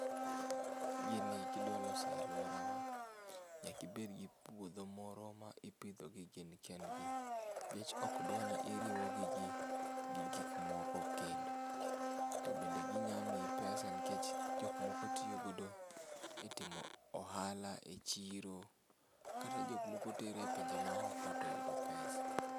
Gini kidwaloso e aluora wa nyaka ibedgi puodho moro ma ipidhogi gin kendgi nikech okdwa ni iriwo gi gi gikmoko kendo, to be gi nya miyi pesa nikech jokmoko tiyo go e timo ohala e chiro kata jomoko tero e pinje ma oko to yudo pesa.